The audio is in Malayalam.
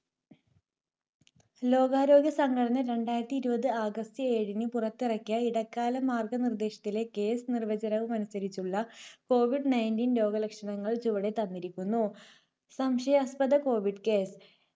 ലോകാരോഗ്യസംഘടന രണ്ടായിരത്തി ഇരുപത് august ഏഴിന് പുറത്തിറക്കിയ ഇടക്കാല മാർഗനിർദേശത്തിലെ case നിർവചനവുമനുസരിച്ചുള്ള കോവിഡ് ninteen രോഗലക്ഷണങ്ങൾ ചുവടെ തന്നിരിക്കുന്നു. സംശയാസ്പദ കോവിഡ് case